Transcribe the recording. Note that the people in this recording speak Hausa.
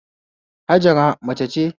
Hajara mace ce